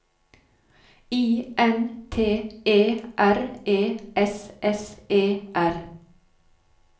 I N T E R E S S E R